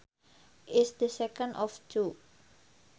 is the second of two